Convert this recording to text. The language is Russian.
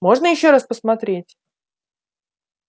можно ещё раз посмотреть